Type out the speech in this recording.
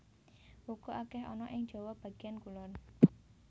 Uga akèh ana ing Jawa bagéan kulon